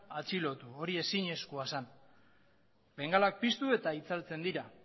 atxilotu hori ezinezkoa zen bengalak piztu eta itzaltzen dira